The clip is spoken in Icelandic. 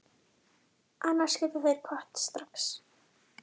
Annars geta þeir kvatt strax.